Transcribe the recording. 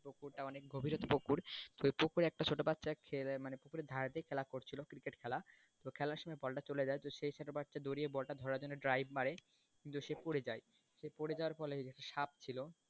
ওটা অনেক গভীর পুকুর তো পুকুরে একটা ছোটো বাচ্চা খেলে মানে পুকুরের ধারে তেই খেলা করছিলো cricket খেলা তো খেলাম সময় বলটা চলে যায় তো সেই ছোটো বাচ্চা দউড়ে এই বলটা ধরার জন্য drive মারে কিন্তু সে পড়ে যায় পড়ে যাওয়ার ফলে সাপ ছিল,